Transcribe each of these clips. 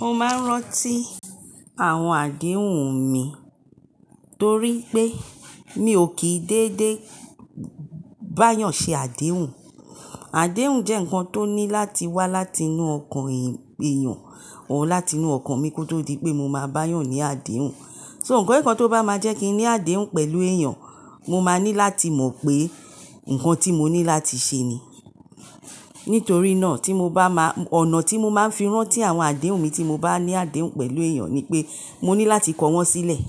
Mo máa ń rántí àwọn àdéhùn mi torí pé mi ò kí dédé bá yàn ṣe àdéhùn. Àdéhùn jẹ́ ǹkan tó ní láti wá láti inú ọkàn èèyàn, òun láti inú ọkàn mi kó tó di pé mo máa bá yàn ní àdéhùn. So ǹkan kan tó bá máa jẹ́ kí n ní àdéhùn pẹ̀lú èèyàn, mo máa ní láti mọ̀ pé ǹkan tí mo ní láti ṣe ni. Nítorí náà tí mo bá máa, ọ̀nà tí mo máa ń fi rántí àwọn àdéhùn mi tí mo bá ní àdéhùn pẹ̀lú èèyàn ni pé, mo ní láti kọ wọ́n sílẹ̀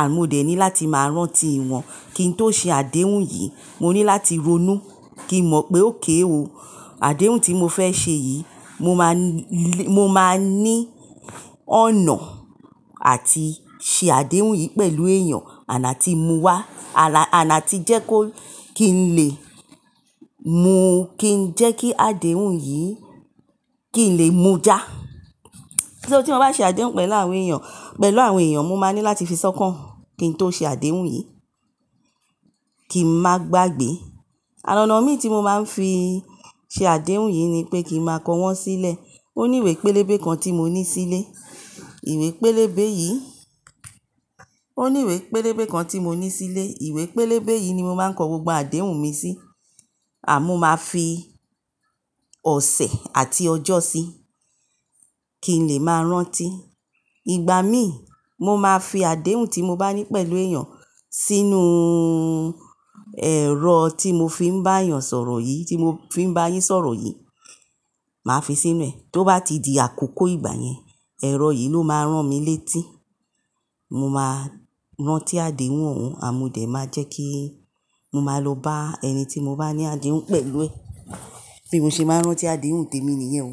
àmọ́ mo dẹ̀ ní láti máa rántí ìwọ̀n kí n tó ṣe àdéhùn yìí. Mo ní láti ronú kí n mọ̀ pé óké ò Àdéhùn tí mo fẹ́ ṣe yìí mo máa ń, mo máa ní ọ̀nà àti ṣe àdéhùn yìí pẹ̀lú èèyàn àná tí mo wà, àná tí jẹ́ kó kí n lè mu, kí n jẹ́ kí àdéhùn yìí kí n lè mú já. So tí mo bá ṣe àdéhùn pẹ̀lú àwọn èèyàn, pẹ̀lú àwọn èèyàn mo máa ní láti fi sọ́kàn kí n tó ṣe àdéhùn yìí kí n má gbagbè. Àná ọ̀nà mi tí mo máa ń fi ṣe àdéhùn yìí ni pé kí n máa kọ wọ́n sílẹ̀. Ó ní ìwé pélébé kan tí mo ní sílé. Ìwé pélébé yìí, ó ní ìwé pélébé kan tí mo ní sílé. Ìwé pélébé yìí ni mo máa ń kọ gbogbo àdéhùn mi sí àmọ́ mo máa fi ọ̀sẹ̀ àti ọjọ́ sí i kí n lè máa rántí. Ìgbà mí, mo máa fi àdéhùn tí mo bá ní pẹ̀lú èèyàn sínú ẹ̀rọ tí mo fi ń bá yàn sọ̀rọ̀ yìí, tí mo fi ń bá yín sọ̀rọ̀ yìí, màá fi sínú rẹ̀. Tó bá ti di àkókò ìgbà yẹn, ẹ̀rọ yìí ló máa ràn mí létí. Mo máa rántí àdéhùn òun a mú dẹ̀ máa jẹ́ kí mo máa lọ bá ẹni tí mo bá ní àdéhùn pẹ̀lú ẹ. Bí mo ṣe máa ń rántí àdéhùn témi nìyẹn o.